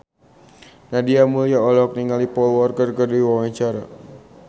Nadia Mulya olohok ningali Paul Walker keur diwawancara